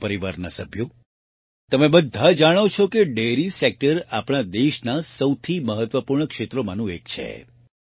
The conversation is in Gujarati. મારા પરિવારના સભ્યો તમે બધા જાણો છો કે ડેરી સેક્ટર આપણા દેશના સૌથી મહત્વપૂર્ણ ક્ષેત્રોમાંનું એક છે